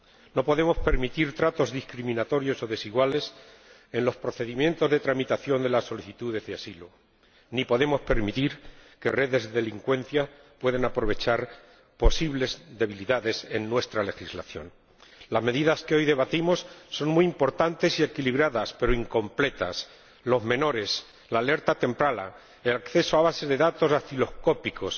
No podemos permitir tratos discriminatorios o desiguales en los procedimientos de tramitación de las solicitudes de asilo, ni podemos permitir que redes de delincuencia puedan aprovechar posibles debilidades en nuestra legislación. Las medidas que hoy debatimos son muy importantes y equilibradas, pero incompletas. Las acciones relacionadas con los menores, la alerta temprana, el acceso a bases de datos dactiloscópicos,